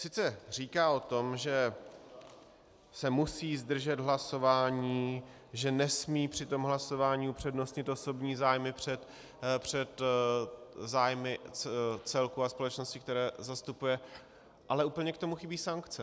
Sice říká o tom, že se musí zdržet hlasování, že nesmí při tom hlasování upřednostnit osobní zájmy před zájmy celku a společnosti, které zastupuje, ale úplně k tomu chybí sankce.